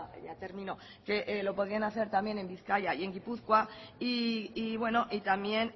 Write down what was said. interesante que lo pudieran hacer también en bizkaia y en gipuzkoa y bueno también